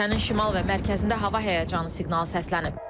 Ölkənin şimal və mərkəzində hava həyəcanı siqnalı səslənib.